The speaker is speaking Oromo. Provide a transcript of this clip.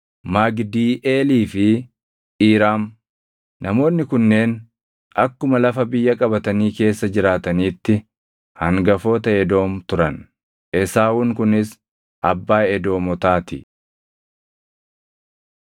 Magidiiʼeelii fi Iiraam. Namoonni kunneen akkuma lafa biyya qabatanii keessa jiraataniitti hangafoota Edoom turan. Esaawuun kunis abbaa Edoomotaa ti.